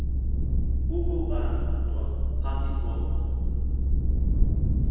ukobantwa phambi kombla